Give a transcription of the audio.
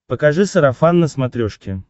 покажи сарафан на смотрешке